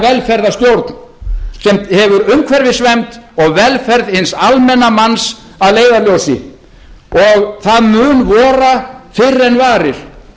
velferðarstjórn sem hefur umhverfisvernd og velferð hins almenna manns að leiðarljósi það mun vora fyrr en varir